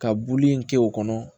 Ka buli in kɛ o kɔnɔ